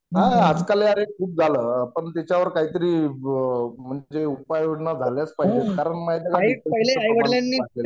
हा अरे आजकाल अरे खूप झालं पण त्येच्यावर काहीतरी उपाय योजना झाल्याच पाहिजे कारण माहितीये का